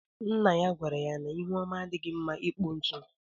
Nna ya gwara ya n’ihu ọma adighi mma ịkpọ ntu